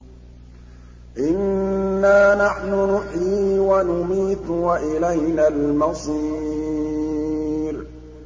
إِنَّا نَحْنُ نُحْيِي وَنُمِيتُ وَإِلَيْنَا الْمَصِيرُ